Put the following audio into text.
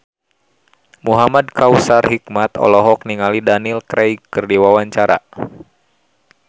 Muhamad Kautsar Hikmat olohok ningali Daniel Craig keur diwawancara